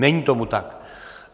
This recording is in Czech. Není tomu tak.